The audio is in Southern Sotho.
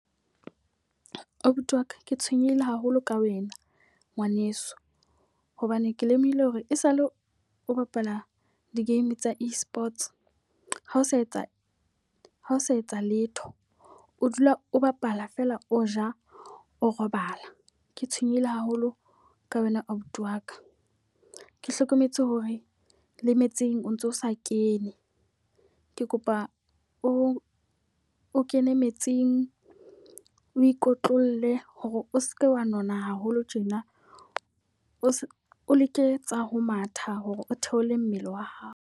Abuti wa ka, ke tshwenyehile haholo ka wena ngwaneso. Hobane ke lemohile hore e sa le o bapala di-game tsa e-Sports. Ha o sa etsa ha o sa etsa letho. O dula o bapala feela o ja o robala, ke tshwenyehile haholo ka wena abuti wa ka. Ke hlokometse hore le metsing o ntso o sa kene, ke kopa o o kene metsing. O ikotlolle hore o seke wa nona haholo tjena. O leke tsa ho matha hore o theole mmele wa hao.